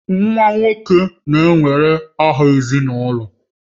Nwa nwoke na-ewere aha ezinụlọ